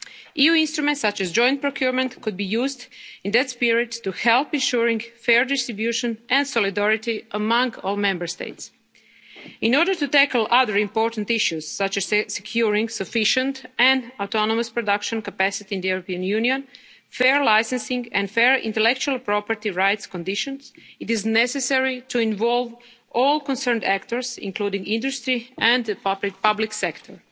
of vaccine supply. EU instruments such as joint procurement could be used in that spirit to help ensure fair distribution and solidarity among all Member States. In order to tackle other important issues, such as securing sufficient and autonomous production capacity in the European Union, fair licensing and fair intellectual property rights conditions, it is necessary to involve all concerned actors, including industry and